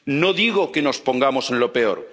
Próximo? No digo que nos pongamos